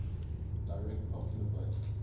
direct popular vote